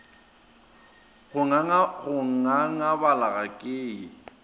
go ngangabala ga ke ye